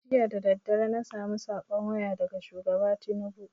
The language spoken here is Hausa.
Jiya dadadare na samu saƙon waya daga shugaba tinubu